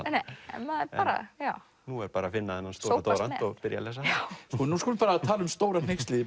en nú er bara að finna þennan stóra doðrant og byrja að lesa hann nú skulum við tala um stóra hneykslið í